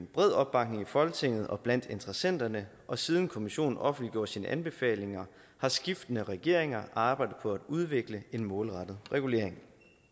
bred opbakning i folketinget og blandt interessenterne og siden kommissionen offentliggjorde sine anbefalinger har skiftende regeringer arbejdet på at udvikle en målrettet regulering